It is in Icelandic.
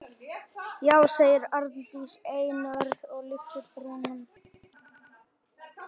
Já, segir Arndís einörð og lyftir brúnum.